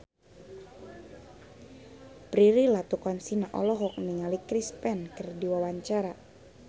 Prilly Latuconsina olohok ningali Chris Pane keur diwawancara